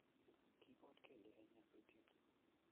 kiibot kelie eng nyasutiet